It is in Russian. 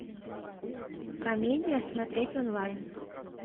комедия смотреть онлайн